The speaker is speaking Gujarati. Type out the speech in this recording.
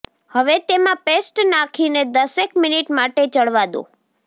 હવે તેમાં પેસ્ટ નાંખીને દસેક મિનિટ માટે ચઢવા દો